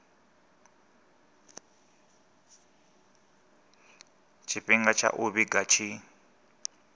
tshifhinga tsha u vhiga tshi